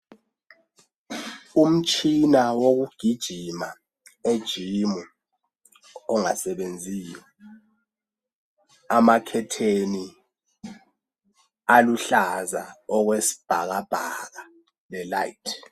Umtshina wokugijima e gym ongasebenziyo amakhetheni aluhlaza okwesibhakabhaka le layithi.